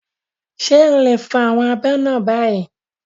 Ṣé o lè fọ àwọn abọ́ náà báyìí?